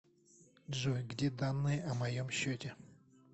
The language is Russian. джой где данные о моем счете